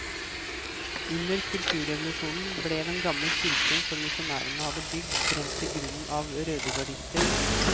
Under kulturrevolusjonen ble den gamle kirken som misjonærene hadde bygd, brent til grunnen av rødegardister.